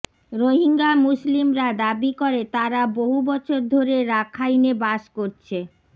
রোহিঙ্গা মুসলিমরা দাবি করে তারা বহু বছর ধরে রাখাইনে বাস করছে